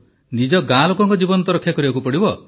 ନିଜ ଗାଁ ଲୋକଙ୍କ ଜୀବନ ତ ରକ୍ଷା କରିବାକୁ ପଡ଼ିବ